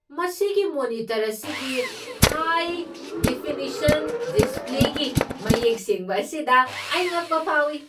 ꯃꯁꯤꯒꯤ ꯃꯣꯅꯤꯇꯔ ꯑꯁꯤꯒꯤ high definition ꯗꯤꯁꯄ꯭ꯂꯦꯒꯤ ꯃꯌꯦꯛ ꯁꯦꯡꯕ ꯑꯁꯤꯗ ꯑꯩ ꯉꯛꯄ ꯐꯥꯎꯏ꯫